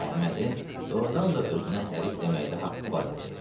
Əhmədin doğurdan da özünə hərif deməkdə haqqı var idi.